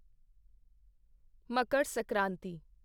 Makar Sankranti